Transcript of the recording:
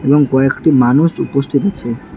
এবং কয়েকটি মানুষ উপস্থিত আছে।